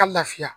Ka lafiya